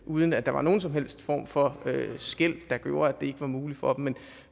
uden at der var nogen som helst form for skel der gjorde at det ikke var muligt for dem